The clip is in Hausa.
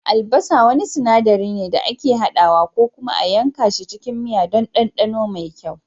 Albasa wani sinaɗari ne da ake hadawa ko kuma a yanka shi cikin miya don ɗanɗano mai kyau